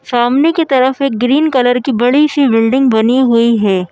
सामने की तरफ एक ग्रीन कलर की बड़ी-सी बिल्डिंग बनी हुई है।